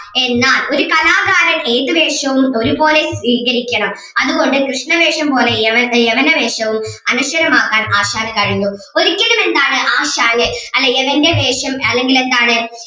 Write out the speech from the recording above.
എന്നാൽ ഒരു കലാകാരൻ ഏത് വേഷവും ഒരുപോലെ സ്വീകരിക്കണം അതുകൊണ്ട് കൃഷ്ണവേഷം പോലെ യവ യവന വേഷവും അനശ്വരമാക്കാൻ ആശാന് കഴിഞ്ഞു ഒരിക്കലും എന്താണ് ആശാന് അല്ലേ യവൻ്റെ വേഷം അല്ലെങ്കിൽ എന്താണ്